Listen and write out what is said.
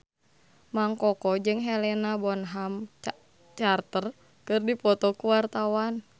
Mang Koko jeung Helena Bonham Carter keur dipoto ku wartawan